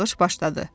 Yağış başladı.